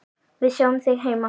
Við sjáum þig heima.